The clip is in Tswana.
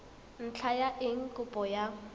ntlha ya eng kopo ya